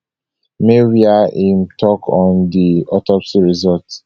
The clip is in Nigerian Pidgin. may wia im tok on di autopsy result